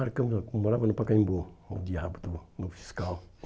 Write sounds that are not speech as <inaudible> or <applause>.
<unintelligible> Eu morava no Pacaembu, o diabo também do fiscal.